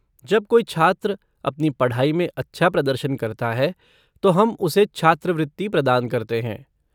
जब कोई छात्र अपनी पढ़ाई में अच्छा प्रदर्शन करता है तो हम उसे छात्रवृत्ति प्रदान करते हैं।